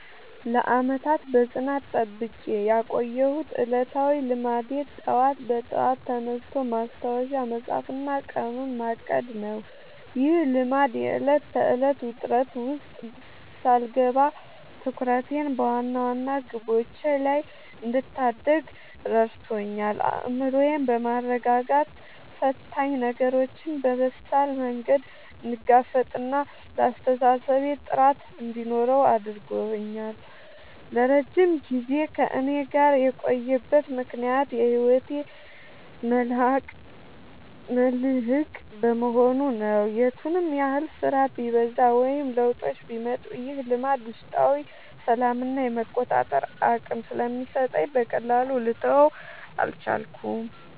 ለዓመታት በጽናት ጠብቄ ያቆየሁት ዕለታዊ ልማዴ ጠዋት በጠዋት ተነስቶ ማስታወሻ መጻፍና ቀኑን ማቀድ ነው። ይህ ልማድ የዕለት ተዕለት ውጥረት ውስጥ ሳልገባ ትኩረቴን በዋና ዋና ግቦቼ ላይ እንድታደርግ ረድቶኛል። አእምሮዬን በማረጋጋት ፈታኝ ነገሮችን በበሳል መንገድ እንድጋፈጥና ለአስተሳሰቤ ጥራት እንዲኖረው አድርጓል። ለረጅም ጊዜ ከእኔ ጋር የቆየበት ምክንያት የህይወቴ መልህቅ በመሆኑ ነው። የቱንም ያህል ስራ ቢበዛ ወይም ለውጦች ቢመጡ፣ ይህ ልማድ ውስጣዊ ሰላምና የመቆጣጠር አቅም ስለሚሰጠኝ በቀላሉ ልተወው አልቻልኩም።